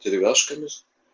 деревяшками